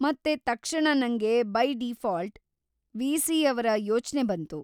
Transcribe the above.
ಮತ್ತೆ ತಕ್ಷಣ ನಂಗೆ ಬೈ ಡಿಫಾಲ್ಟ್‌ ವಿ.ಸಿ.ಯವ್ರ ಯೋಚ್ನೆ ಬಂತು.